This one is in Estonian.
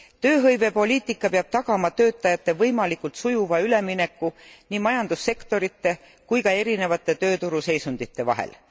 Tööhõivepoliitika peab tagama töötajate võimalikult sujuva ülemineku nii majandussektorite kui ka erinevate tööturu seisundite vahel.